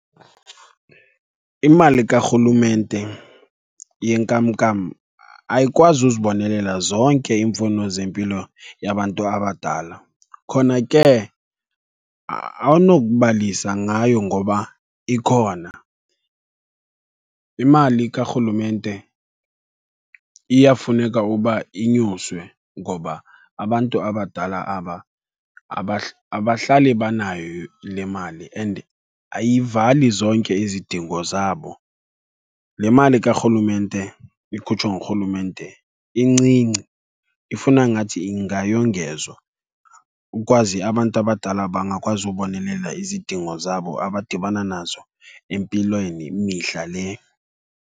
Imali karhulumente yenkamnkam ayikwazi uzibonelela zonke iimfuno zempilo yabantu abadala, khona ke awunokubalisa ngayo ngoba ikhona. Imali karhulumente iyafuneka uba inyuswe ngoba abantu abadala aba abahlali banayo le mali and ayivali zonke izidingo zabo. Le mali karhulumente ikhutshwa ngurhulumente incinci, ifuna ngathi ingayongezwa ukwazi abantu abadala bangakwazi ubonelela izidingo zabo abadibana nazo empilweni mihla le.